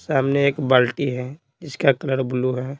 सामने एक बाल्टी है इसका कलर ब्लू है।